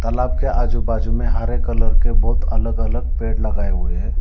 तालाब के आजू बाजू में हरे कलर के बहुत अलग अलग पेड़ लगाए हुए हैं।